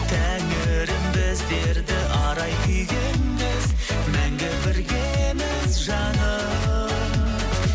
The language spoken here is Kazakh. тәңірім біздерді арай күйге енгіз мәңгі біргеміз жаным